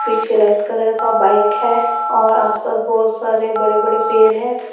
पीछे red colour का bike है और आसपास बहुत सारे बड़े बड़े पेड़ है।